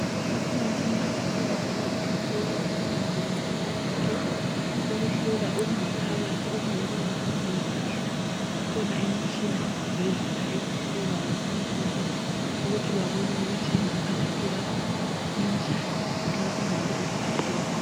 Ikhona imitshina yokuhlola imizimba yonke ukuhlola okungaphakathi okungeke kubonwe lilihlo. Ikhona imitshina esibhedlela ehlolayo konke lokhu ukuthi babone ukuthi ingaphakathi yakho injani nxa ungabe uphathekile